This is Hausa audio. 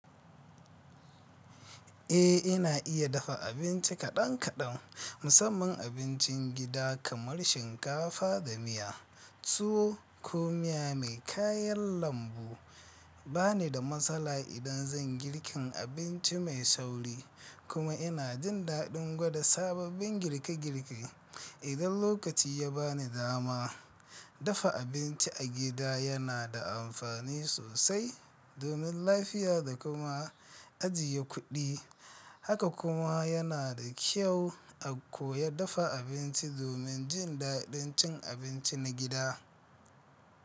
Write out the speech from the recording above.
Eh, ina iya dafa abinci kaɗan kaɗan, musamman abincin gida kamar shinkafa da miya, tuwo ko miya mai kayan lambu. Ba ni da matsala idan zan girkin abinci mai sauri. Kuma ina jin daɗin gwada sababbin girke girke idan lokaci ya bani dama. Dafa abinci a gida yana da amfani sosai domin lafiya da kuma ajiye kuɗi. Haka kuma yana da kyau a koya dafa abinci domin jin daɗin cin abinci na gida.